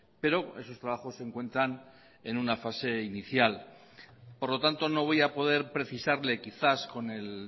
pero esos trabajos se encuentran en una fase inicial por lo tanto no voy a poder precisarle quizás con el